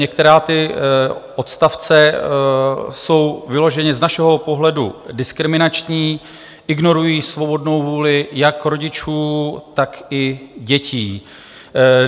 Některé ty odstavce jsou vyloženě z našeho pohledu diskriminační, ignorují svobodnou vůli jak rodičů, tak i dětí.